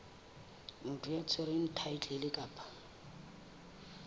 motho ya tshwereng thaetlele kapa